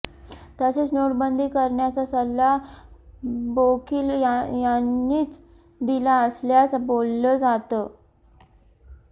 तसेच नोटबंदी करण्याचा सल्ला बोकील यांनीच दिला असल्याच बोलल जात